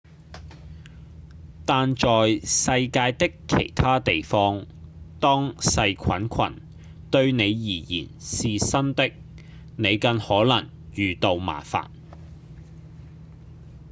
但在世界的其他地方當細菌群對您而言是新的您更可能遇到麻煩